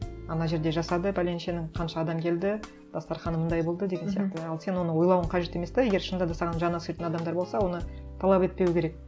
ана жерде жасады бәленшенің қанша адам келді дастарқаны мынандай болды деген сияқты ал сен оны ойлауың қажет емес те егер шынында да саған жаны ашитын адамдар болса оны талап етпеуі керек